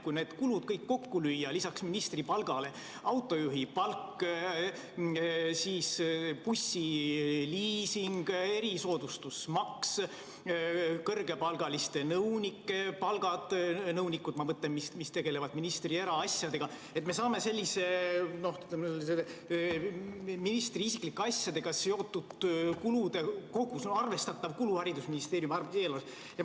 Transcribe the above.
Kui need kulud kõik kokku lüüa, lisaks ministri palgale autojuhi palk, bussiliising, erisoodustusmaks, kõrgepalgaliste nõunike palgad – nõunikud, ma mõtlen, kes tegelevad ministri eraasjadega –, siis me saame ministri isiklike asjadega seotud kulud kokku, see on arvestatav kulu haridusministeeriumi eelarves.